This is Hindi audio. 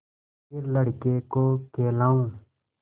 फिर लड़के को खेलाऊँ